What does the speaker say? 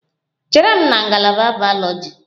Chere m na ngalaba bayoloji!